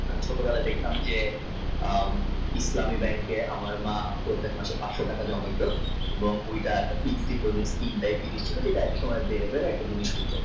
ছোটবেলায় দেখতাম যে কিপতমী bank এ আমার মা প্রত্তেক মাসে পাঁচশ টাকা জমা দিত নব্বই টাকার fixed deposit নিশ্চিত এক সময়